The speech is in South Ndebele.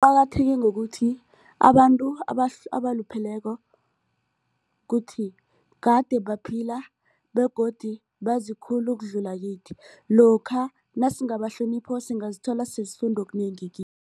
Qakatheke ngokuthi abantu abalupheleko kuthi kade baphila begodu bazi khulu ukudlula kithi lokha nasingabahlonipha singazithola sesifunda okunengi.